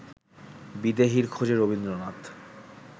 বিদেহীর খোঁজে রবীন্দ্রনাথ